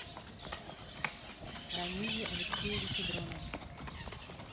рамизе алексеевиче дронове